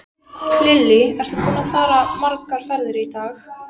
Lillý: Ertu búinn að fara margar ferðir í dag?